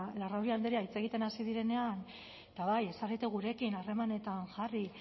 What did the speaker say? larrauri andrea hitz egiten hasi direnean eta bai ez zarete gurekin harremanetan jarri